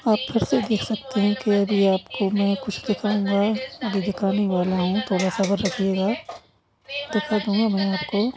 आप फिरसे देख है की आप अभी आपको मे कुछ दिखाऊँगा। अभी दिखानेवाला हु थोडा सबर रखियेगा दिखदूँगा मैं आपको।